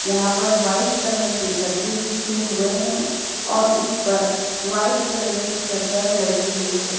यहाँ पर white colour के गद्दे बिछे हुए हैं और इस पर व्हाईट कलर की चद्दर लगी हुई है।